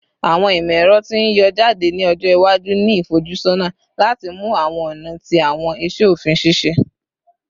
Awọn imọ-ẹrọ ti n yọ jade ni ọjọ iwaju ni ifojusọna lati mu awọn ọna ti awọn iṣe ofin ṣiṣẹ